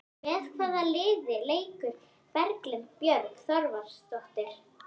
Með hvaða liði leikur Berglind Björg Þorvaldsdóttir?